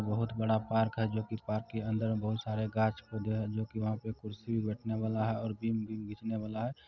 बहुत बड़ा पार्क है जो की पार्क के अंदर में बहुत सारे गाछ पौधे हैं जो की कुर्सी भी बैठने वाला है और बीन भी बिछने वाला है